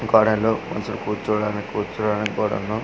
ఈ కాలంలో కొంచం కూర్చోడానికి కూర్చోడానికి కూడాను .